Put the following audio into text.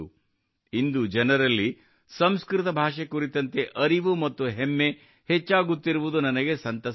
ಇಂದು ಜನರಲ್ಲಿ ಸಂಸ್ಕೃತ ಭಾಷೆ ಕುರಿತಂತೆ ಅರಿವು ಮತ್ತು ಹೆಮ್ಮೆ ಹೆಚ್ಚಾಗುತ್ತಿರುವುದು ನನಗೆ ಸಂತಸ ತಂದಿದೆ